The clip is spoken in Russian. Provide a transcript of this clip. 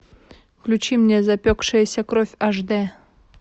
включи мне запекшаяся кровь аш дэ